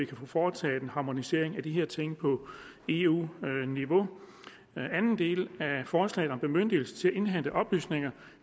kan få foretaget en harmonisering af de her ting på eu niveau den anden del af forslaget om bemyndigelse indhente oplysninger